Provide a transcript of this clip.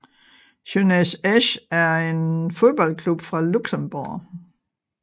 Jeunesse Esch er en fodboldklub fra Luxembourg